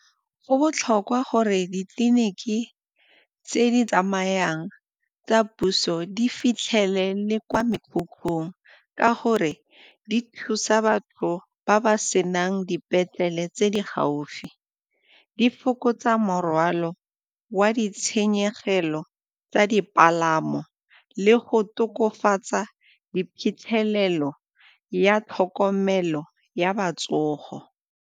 Go botlhokwa gore ditleliniki tse di tsamayang tsa puso di fitlhele le kwa mekhukhung ka gore di thusa batho ba ba senang dipetlele tse di gaufi. Di fokotsa morwalo wa di tshenyegelo tsa dipalamo le go tokafatsa di phitlhelelo ya tlhokomelo ya ba .